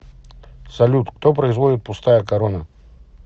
салют кто производит пустая корона